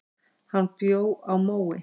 Hann bjó á Mói.